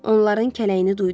Onların kələyini duydum.